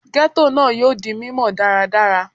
Ghetto naa yoo di mimọ daradara